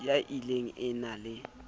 ya ill e na le